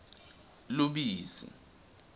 lubisi